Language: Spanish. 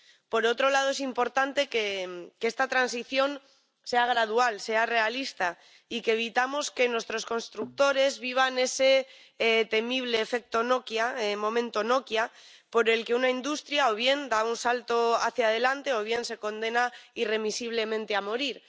Por otro lado, es importante que esta transición sea gradual, sea realista y que evitemos que nuestros constructores vivan ese temible efecto Nokia o momento Nokia, por el que una industria, o bien da un salto hacia adelante, o bien se condena irremisiblemente a morir.